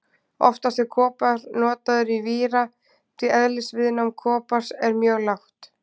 Oftast er kopar notaður í víra því eðlisviðnám kopars er mjög lágt.